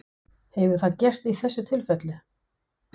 Hefur það gerst í þessu tilfelli?